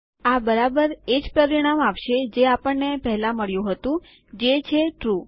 આ બરાબર એ જ પરિણામ આપશે જે આપણને પહેલાં મળ્યું હતું જે છે ટ્રૂ